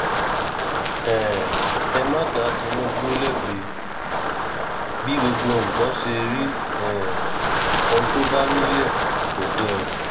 um ẹ má dá tinúbù lẹbi bí gbogbo nǹkan ṣe rí um ohun tó bá nílẹ kò dẹrùn